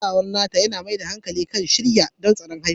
Kulawar Natal yana mai da hankali kan shirya don tsarin haihuwa.